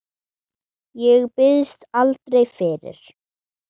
Ég biðst aldrei fyrir.